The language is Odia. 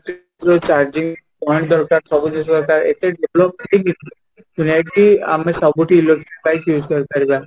ର charging point ଦରକାର ଏତେ develop ହେଇନି ଯେହେତୁ ଆମେ ସବୁଠି bike use କରିପାରିବା